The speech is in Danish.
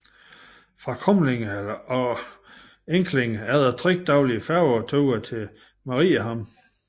Fra Kumlinge og Enklinge er der 3 daglige færgeture til Mariehamn